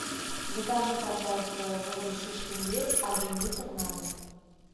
закажи пожалуйста воду шишкин лес один литр на дом